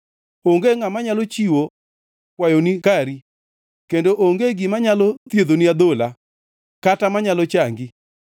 Onge ngʼama nyalo chiwo kwayoni kari, kendo onge gima nyalo thiedhoni adhola, kata manyalo changi.